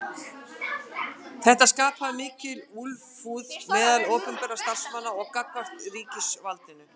Þetta skapaði mikla úlfúð meðal opinberra starfsmanna gagnvart ríkisvaldinu.